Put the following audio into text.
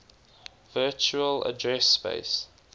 virtual address space